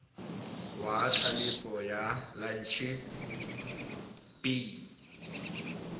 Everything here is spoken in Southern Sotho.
wa tlelapo ya lantjhe b